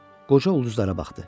Qoca ulduzlara baxdı.